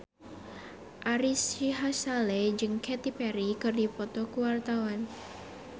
Ari Sihasale jeung Katy Perry keur dipoto ku wartawan